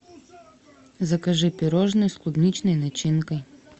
закажи пирожное с клубничной начинкой